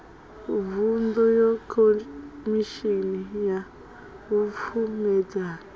vuṅdu ya khomishini ya vhupfumedzani